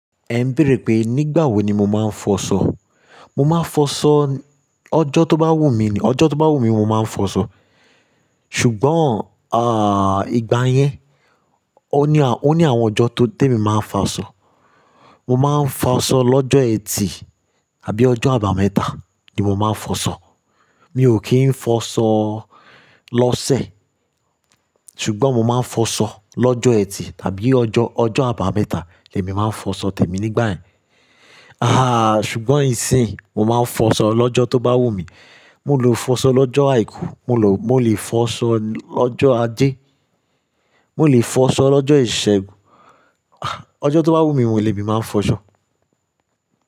Ẹ ń béèrè pé nígbà wo ni mo máa ń fọṣọ. Mo máa ń fọṣọ ọjọ́ tó bá wù mí ni, ọjọ́ tó bá wù mí mo máa ń fọṣọ. Ṣùgbọ́n, à, ìgbà yẹn, ó ní à, ó ní àwọn ọjọ́ tó temi máa ń fọṣọ. Mo máa ń fọṣọ lọ́jọ́ ẹtì àbí ọjọ́ àbámẹ́ta ni mo máa ń fọṣọ. Mi ò kí ń fọṣọ lọ́sẹ̀. Ṣùgbọ́n mo máa ń fọṣọ lọ́jọ́ ẹtì tàbí ọjọ́, ọjọ́ àbámẹ́ta ni èmi máa ń fọṣọ tẹ̀mi nígbà ẹ́n. Àháà, ṣùgbọ́n ìsìn yi, mo máa ń fọṣọ lọ́jọ́ tó bá wùn mí. Mo lè fọṣọ lọ́jọ́ àìkú, mo lọ, mo lè fọṣọ lọ́jọ́ ajé, mo lè fọṣọ lọ́jọ́ ìṣẹ́gun. Ah, ọjọ́ tó bá wùnmí, lèmi máa ń fọṣọ.